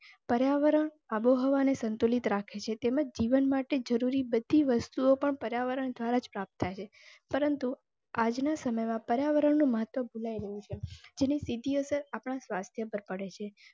પર્યાવરણ આબોહવાને સંતુલિત રાખે છે તેમજ જીવન માટે જરૂરી બધી વસ્તુઓ પર પર્યાવરણ દ્વારા જ પ્રાપ્ત થય છે. પરંતુ આજના સમયમાં પર્યાવરણમાં નું મહત્તવ ભુલાઈ રહ્મયું છે. ને સ્થિતિઓ સે આપણા સ્વાસ્થ્ય પર પડે.